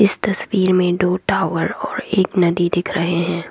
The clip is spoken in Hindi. तस्वीर में दो टावर और एक नदी दिख रहे है।